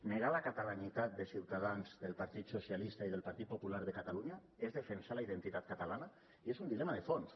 negar la catalanitat de ciutadans del partit socialistes i del partit popular de catalunya és defensar la identitat catalana i és un dilema de fons